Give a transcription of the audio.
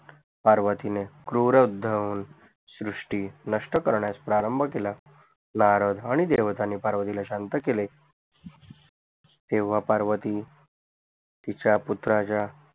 पार्वतीने क्रूरध श्रूष्ठि नष्ट करन्यास प्रारंभ केला नारद आणि देवताणे पर्वतिला शांत केले तेव्हा पार्वती तिच्या पुत्राच्या